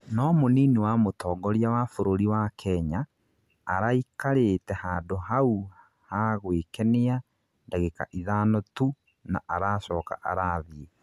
no mũnini wa mũtongoria wa bũrũri wa Kenya, araikarĩte handũ haũ ha gwĩkenia ndagika ithano tu na aracoka arathiĩ